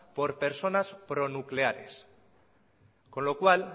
por personas pro nucleares con lo cual